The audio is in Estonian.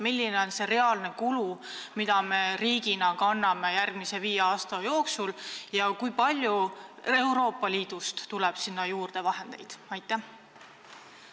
Milline on see reaalne kulu, mida me riigina kanname järgmise viie aasta jooksul, ja kui palju Euroopa Liidust tuleb selleks vahendeid juurde?